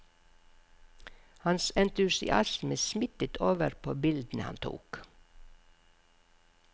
Hans entusiasme smittet over på bildene han tok.